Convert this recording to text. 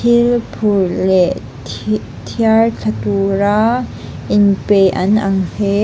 thil phur leh thi thiar thla tura inpe an ang he--